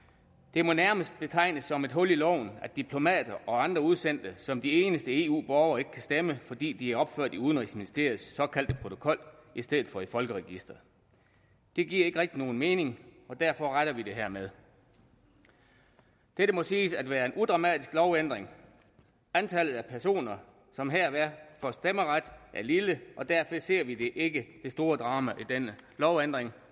det må nærmest betegnes som et hul i loven at diplomater og andre udsendte som de eneste eu borgere ikke kan stemme fordi de er opført i udenrigsministeriets såkaldte protokol i stedet for i folkeregisteret det giver ikke rigtig nogen mening og derfor retter vi det hermed dette må siges at være en udramatisk lovændring antallet af personer som herved får stemmeret er lille og derfor ser vi ikke det store drama i denne lovændring